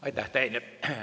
Aitäh!